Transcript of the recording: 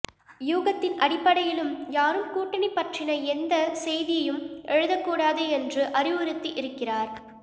யூகத்தின் அடிப்படையிலும் யாரும் கூட்டணி பற்றின எந்த எந்த செய்தியும் எழுத கூடாது என்று அறிவுறுத்தி இருக்கிறார்